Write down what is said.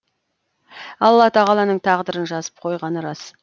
алла тағаланың тағдырын жазып қойғаны рас